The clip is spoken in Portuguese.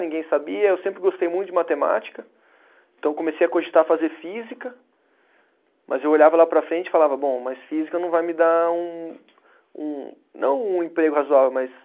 Ninguém sabia, eu sempre gostei muito de matemática, então comecei a cogitar fazer física, mas eu olhava lá para frente e falava, bom, mas física não vai me dar um, um não um emprego razoável, mas